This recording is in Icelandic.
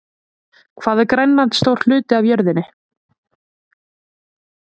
Hvað er Grænland stór hluti af jörðinni?